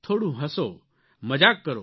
થોડું હસો મજાક કરો